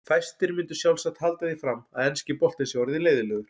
Fæstir myndu sjálfsagt halda því fram að enski boltinn sé orðinn leiðinlegur.